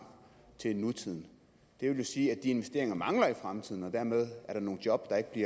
til nutiden det vil jo sige at de investeringer mangle i fremtiden og dermed er der nogle job der i